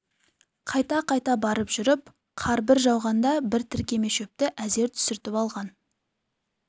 қайта-қайта барып жүріп қар бір жауғанда бір тіркеме шөпті әзер түсіртіп алған